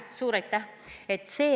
Suur aitäh!